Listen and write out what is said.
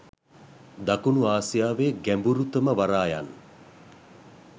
දකුණු ආසියාවේ ගැඹුරුතම වරායන්